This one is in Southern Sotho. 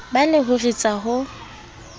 ba le ho ritsa ho